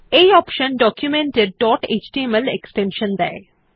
এই option document এর dot HTML extension দেয়